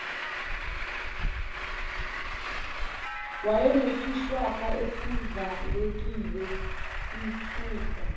wayenesishwapha esindlalekile sithusa